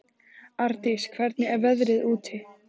Ardís, hvernig er veðrið úti?